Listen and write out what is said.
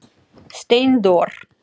Steindór